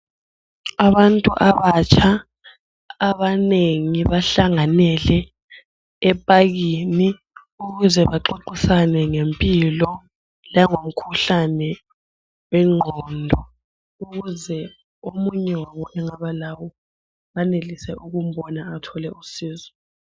Abantu abatsha abanengi bahlanganele epakini ukuze baxoxisane ngempilo langomkhuhlane wengqondo ukuze omunye wabo engaba lawo banelise ukumbona athole usizo.